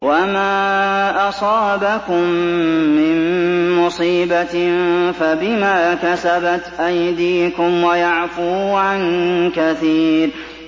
وَمَا أَصَابَكُم مِّن مُّصِيبَةٍ فَبِمَا كَسَبَتْ أَيْدِيكُمْ وَيَعْفُو عَن كَثِيرٍ